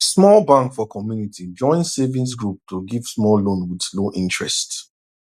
small bank for community join savings group to give small loan with low interest